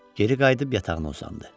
Geri qayıdıb yatağına uzandı.